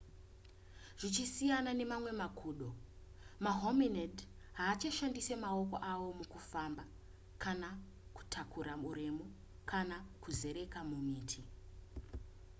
zvichisiyana nemamwe makudo mahominid haachashandise maoko avo mukufamba kana kutakura uremu kana kuzereka mumiti